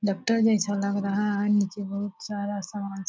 doctor जैसा लग रहा है नीचे बहुत सारा सामान --